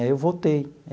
Aí eu voltei.